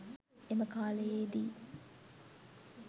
එම කාලයේ දී